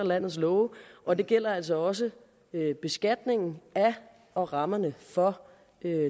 landets love og det gælder altså også beskatningen af og rammerne for